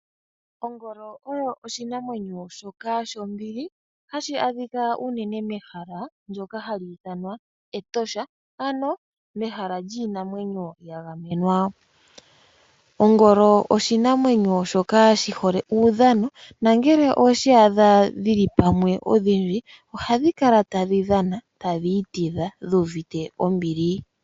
Ongolo oyo oshinamwenyo shoka shombili hashi adhika uunene mehala ndyoka hali ithanwa etosha ano mehala lyiinamwenyo ya gamwenwa. Ongolo oshinamwenyo shoka shi hole uudhano nangele oweshi adha dhili pamwe odhindji ohadhi kala tadhi dhana, tadhi itidha dhu uvite ombili.